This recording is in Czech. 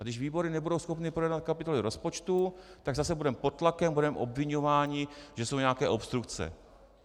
A když výbory nebudou schopny projednat kapitoly rozpočtu, tak zase budeme pod tlakem, budeme obviňováni, že jsou nějaké obstrukce.